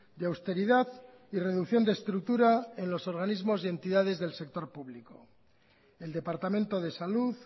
de austeridad y reducción de estructura en los organismos y entidades del sector público el departamento de salud